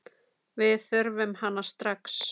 Við þurfum hana strax.